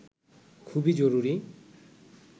খুবই জরুরি